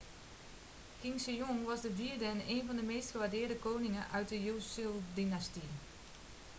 king sejong was de vierde en één van de meest gewaardeerde koningen uit de joseondynastie